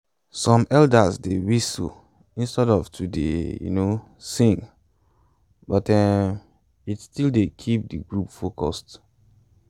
some elders dey whistle instead of to dey um sing but um it still dey keep de group focused